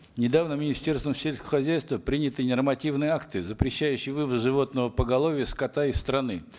недавно министерством сельского хозяйства приняты нормативные акты запрещающие вывоз животного поголовья скота из страны